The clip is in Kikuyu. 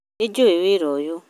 Nĩ njũĩ wĩra ũyũ